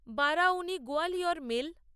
Barauni Gwalior mail